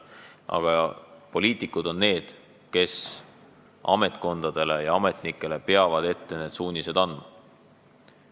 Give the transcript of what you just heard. Aga poliitikud on need, kes ametkondadele ja ametnikele peavad suunised ette andma.